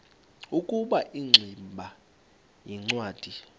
ukuba ingximba yincwadi